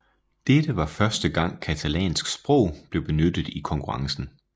Dette var første gang catalansk sprog blev benyttet i konkurrencen